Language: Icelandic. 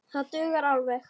Það dugar alveg.